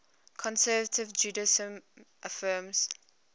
conservative judaism affirms